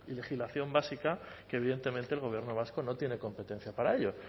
legislación básica que evidentemente el gobierno vasco no tiene competencia para ello